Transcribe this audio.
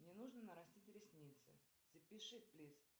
мне нужно нарастить ресницы запиши плиз